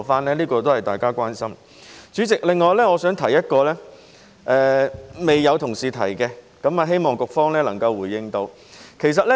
此外，代理主席，我想提出一個未有同事提及的觀點，希望局方能夠回應。